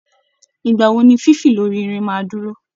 Ìgbà wo ni fífì lórí ìrìn máa dúró?